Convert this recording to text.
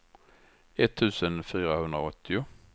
etttusen fyrahundraåttio